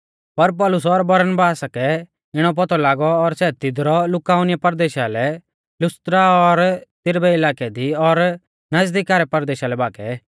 पर पौलुस और बरनबासा कै इणौ पौतौ लागौ और सै तिदरु लुकाउनिया परदेशा रै लुस्त्रा और दिरबै इलाकै दी और नज़दीका रै परदेशा लै भागै